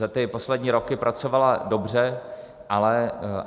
Za ty poslední roky pracovala dobře.